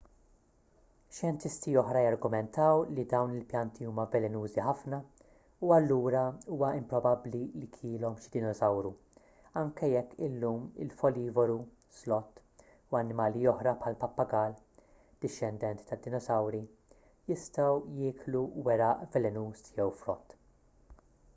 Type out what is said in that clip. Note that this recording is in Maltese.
xjentisti oħra jargumentaw li dawn il-pjanti huma velenużi ħafna u allura huwa improbabbli li kielhom xi dinosawru anki jekk illum il-folivoru sloth” u annimali oħra bħall-pappagall dixxendent tad-dinosawri jistgħu jieklu weraq velenuż jew frott